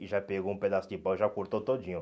E já pegou um pedaço de pau e já cortou todinho.